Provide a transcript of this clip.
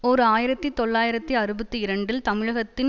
ஓர் ஆயிரத்தி தொள்ளாயிரத்து அறுபத்தி இரண்டில் தமிழகத்தின்